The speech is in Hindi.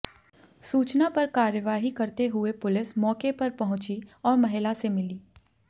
सूचना पर कार्यवाही करते हुए पुलिस मौकेे पर पहुंची और महिला से मिली